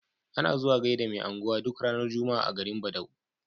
Ana zuwa gaida me unguwa duk ranar juma'a a garin badau